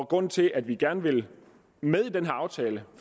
grunden til at vi gerne vil med i den her aftale